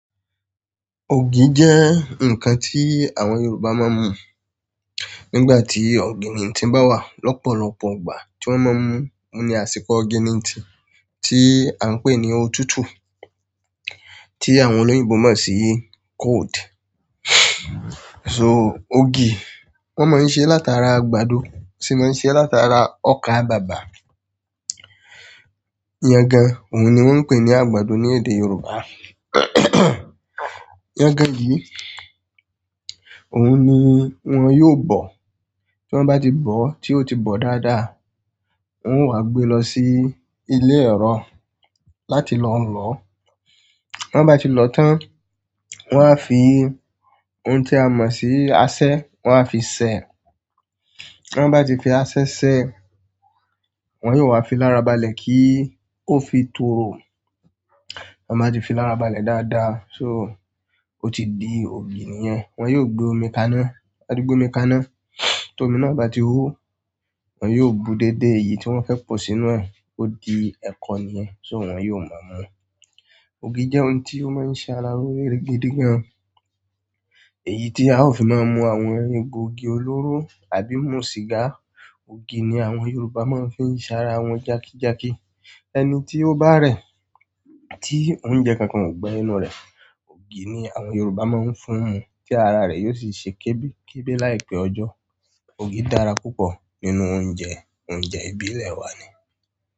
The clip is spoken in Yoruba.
Ògì jẹ́ ǹkan tí àwọn Yorùbá máa ń mu nígbà tí òginintì bá wà. Lọ́pọ̀lọ́pọ̀ ìgbà tí wọ́n máa ń mu ohun ní àsìkò ògiri ntì tí à ń pè ní òtútù tí àwọn olóyìnbo mọ̀ sí cold. So ògì wọ́n máa ń ṣe látara àgbàdo, wọn sì máa ń ṣe látara ọkà bàbà, yẹ́gan ohun ni wọ́n ń pè ní àgbàdo ní èdè Yorùbá. Yẹ́gan yìí ohun ni wọ́n yóò bọ̀. Tí wọ́n bá ti bọ̀, tí ó ti bọ̀ dáadáa, wọ́n ó wá gbé lọ sí ilé ẹ̀rọ láti lọ lòó. Ti wọ́n bá ti lọ tán, wọ́n á fi ohun tí a mọ̀ sí asẹ́, wọ́n á fi sèé. Ti wọ́n bá ti fi asẹ́ sèé, wọ́n yóò wá fi lára balẹ̀ kí ó fi tòòru. Wọ́n má ti fi lára balẹ̀ dáadáa so ó ti di ògì nìyẹn. Wọ́n yóò gbé omi kaná, wọ́n á gbé omi kaná. Tí omi náà bá ti hó, wọ́n yóò bu dédé èyí tí wọ́n fẹ́ pọ̀ sínú ẹ̀, ó di ẹ̀kọ nìyẹn, so wọ́n yóò máa mú. Ògì jẹ́ ohun tí ó máa ń ṣe ara loore gidi gan. Èyí tí a ó fi máa ń mu àwọn egbo igì olóró àbí mú sìgá. Ògì ni àwọn Yorùbá máa ń fi ń ṣara wọn jákíjáki. Ẹni tí ó bá rẹ̀, tí oúnjẹ kankan ò gba inú rẹ̀, ògì ni àwọn Yorùbá máa ń fún un mu tí ara rẹ̀ yóò sì ṣe kébi kébi láìpẹ́ ọjọ́. Ògì dára púpọ̀ nínú oúnjẹ, oúnjẹ ìbílẹ̀ wa ni.